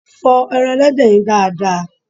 Fọ ẹran Ẹlẹ́dẹ̀ yẹn dáa dáa!